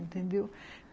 Entendeu?